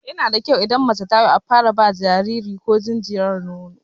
Yana da kyau idan mace ta haihu a fara ba jinjiri ko jinjira nono.